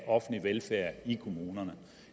offentlig velfærd i kommunerne